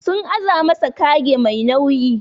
Sun aza masa kage Mai nauyi.